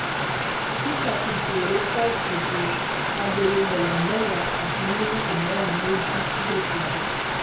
peter ti dèrò kóòtù o agolo ẹwà mẹwàá àti mílíìkì mẹrin ló jí lọsọgbó